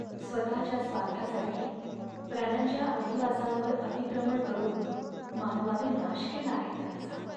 स्वतःच्या स्वार्थासाठी प्राण्यांच्या अधिवासांवर अतिक्रमण करून मानवाने नाश केला आहे त्यांचा.